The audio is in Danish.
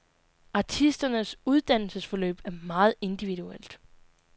Artisternes uddannelsesforløb er meget individuelt.